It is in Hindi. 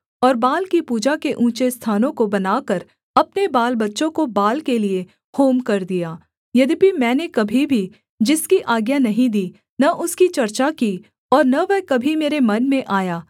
और बाल की पूजा के ऊँचे स्थानों को बनाकर अपने बालबच्चों को बाल के लिये होम कर दिया यद्यपि मैंने कभी भी जिसकी आज्ञा नहीं दी न उसकी चर्चा की और न वह कभी मेरे मन में आया